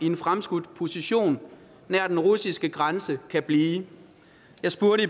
en fremskudt position nær den russiske grænse kan blive jeg spurgte